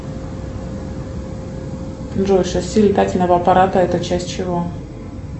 джой шасси летательного аппарата это часть чего